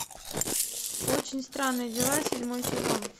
очень странные дела седьмой сезон